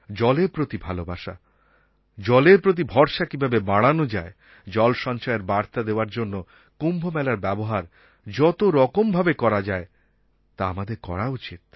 জলের প্রতি ভালোবাসা জলের প্রতি ভরসা কীভাবে বাড়ানো যায় জল সঞ্চয়ের বার্তা দেওয়ার জন্য কুম্ভমেলার ব্যবহার যতরকম ভাবে করা যায় তা আমাদের করা উচিত